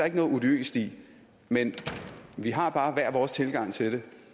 ikke noget odiøst i men vi har bare hver vores tilgang til det